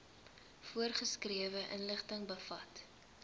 voorgeskrewe inligting bevat